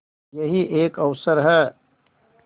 यही एक अवसर है